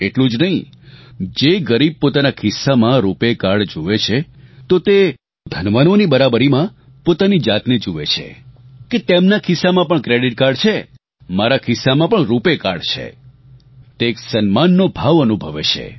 એટલું જ નહીં જે ગરીબ પોતાના ખિસ્સામાં રૂપાય કાર્ડ જુએ છે તો તે ધનવાનોની બરાબરીમાં પોતાની જાતને જુએ છે કે તેમનાં ખિસ્સામાં પણ ક્રેડિટ કાર્ડ છે મારા ખિસ્સામાં પણ રૂપાય કાર્ડ છે તે એક સન્માનનો ભાવ અનુભવે છે